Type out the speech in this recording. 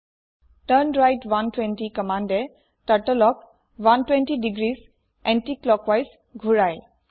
turn right 120 কম্মান্দে Turtleক 120 degrees anti clockwise ঘূৰাই